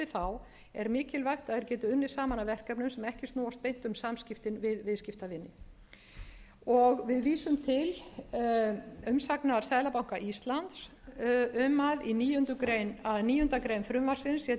þá er mikilvægt að þeir geti unnið saman að verkefnum sem ekki snúast beint um samskiptin við viðskiptavini við vísum til umsagnar seðlabanka íslands um að níundu grein frumvarpsins sé til þess fallin að